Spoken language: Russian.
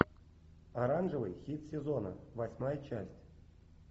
оранжевый хит сезона восьмая часть